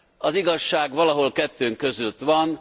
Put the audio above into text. Az igazság valahol kettő között van.